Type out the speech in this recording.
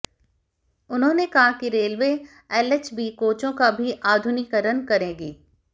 उन्होंने कहा कि रेलवे एलएचबी कोचों का भी आधुनिकीकरण करेगी